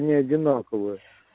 не одинаковые